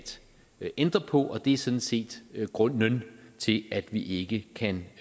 ændre på og det er sådan set grunden til at vi ikke kan